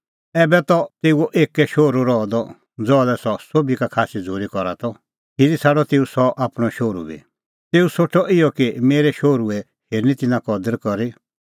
ऐबै त तेऊओ एक्कै शोहरू रहअ द ज़हा लै सह सोभी का खास्सी झ़ूरी करा त खिरी छ़ाडअ तेऊ सह आपणअ शोहरू बी तेऊ सोठअ इहअ कि मेरै शोहरूए ता हेरनी तिन्नां कदर करी